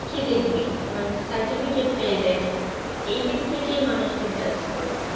কি দেখবে মানে certificate টাই দেখে এই দিক থেকে মানুষকে judge করে